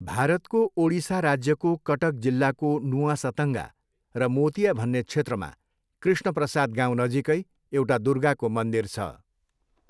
भारतको ओडिसा राज्यको कटक जिल्लाको नुआ सतङ्गा र मोतिया भन्ने क्षेत्रमा कृष्णप्रसाद गाउँ नजिकै एउटा दुर्गाको मन्दिर छ।